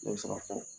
Ne bɛ se ka fɔ